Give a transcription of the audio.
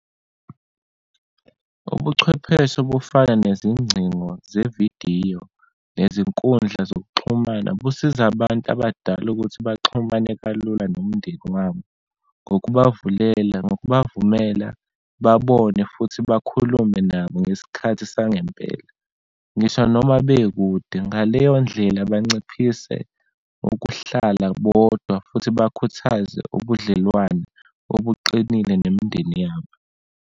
Ubuchwepheshe obufana nezingcingo zevidiyo nezinkundla zokuxhumana, busiza abantu abadala ukuthi baxhumane kalula nomndeni wami. Ngokubavulela, nokubavumela babone, futhi bakhulume nabo ngesikhathi sangempela. Ngisho noma bekude, ngaleyondlela banciphise ukuhlala bodwa, futhi bakhuthaze ubudlelwano obuqinile nemindeni yabo.